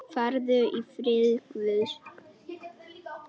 Farðu í friði Guðs.